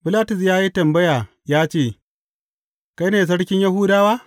Bilatus ya yi tambaya ya ce, Kai ne Sarkin Yahudawa?